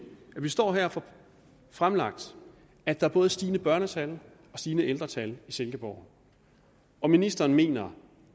står her og får fremlagt at der både er stigende børnetal og stigende ældretal i silkeborg og ministeren mener